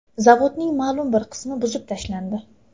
Zavodning ma’lum bir qismi buzib tashlandi.